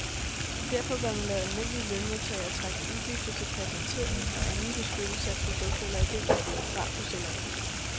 Derfor bør man lade almindelige lønmodtagere trække udgifter til patentering, og anden beskyttelse af produkt eller idé, fra på selvangivelsen.